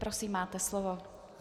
Prosím, máte slovo.